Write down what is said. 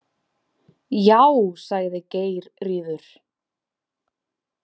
Já, sagði Geirríður.